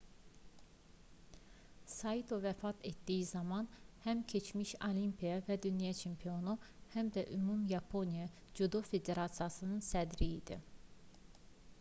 saito vəfat etdiyi zaman həm keçmiş olimpiya və dünya çempionu həm də ümumyaponiya cüdo federasiyasının sədri idi